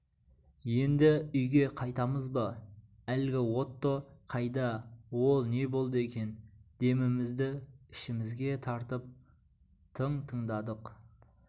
енді үйге қайтамыз ба әлгі отто қайда ол не болды екен демімізді ішімізге тартып тың тыңдадық